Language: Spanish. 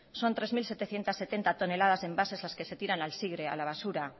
son tres mil setecientos setenta toneladas envases los que se tiran al a la basura